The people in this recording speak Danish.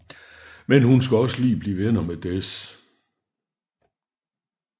Men hun skal også lige blive venner med Dez